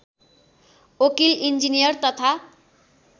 वकिल इन्जिनियर तथा